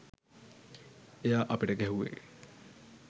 එයා අපිට ගැහුවේ